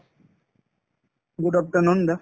good afternoon